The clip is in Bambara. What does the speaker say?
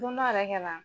Don dɔ yɛrɛ kɛ na